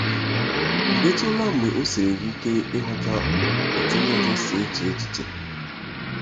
Ọ̀ DỊTỤLA mgbe o siiri gị ike ịghọta otú onye ọzọ si eche echiche?